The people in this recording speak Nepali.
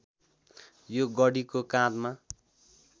यो गढीको काँधमा